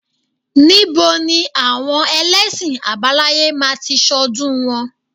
Ní bo ni àwọn elẹ́sìn àbáláyé máa ti ṣọ́dún wọn?